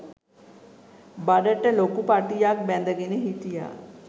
බඩට ලොකු පටියක් බැඳගෙන හිටියා.